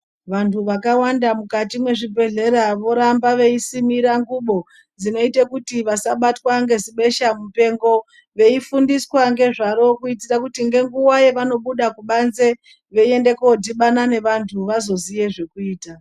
Vantu vakawanda mukati mwezvibhedhlera voramba veisimira ngubo dzinoite kuti vasabatwa ngezibeshamupengo. Veifundiswa ngezvaro kuitire kuti ngenguwa yevanobude kubanze veiende kodhibana nevantu vazoziye zvekuita.